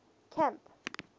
camp